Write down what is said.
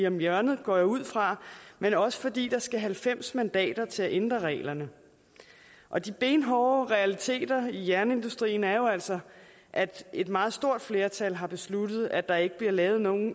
om hjørnet går jeg ud fra men også fordi der skal halvfems mandater til at ændre reglerne og de benhårde realiteter i jernindustrien er jo altså at et meget stort flertal har besluttet at der ikke bliver lavet nogen